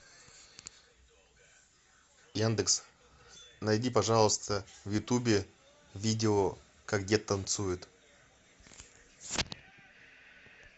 яндекс найди пожалуйста в ютубе видео как дед танцует